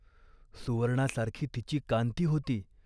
सुवर्णासारखी तिची कांती होती.